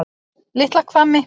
Litla Hvammi